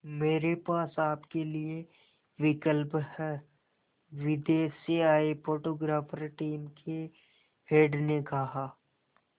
मेरे पास आपके लिए विकल्प है विदेश से आए फोटोग्राफर टीम के हेड ने कहा